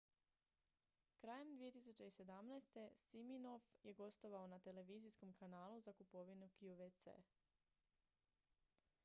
krajem 2017. siminoff je gostovao na televizijskom kanalu za kupovinu qvc